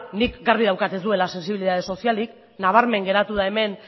nik garbi daukat ez duela sentsibilitate sozialik nabarmen geratu da hemen